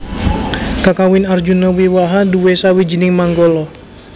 Kakawin Arjunawiwaha nduwé sawijining manggala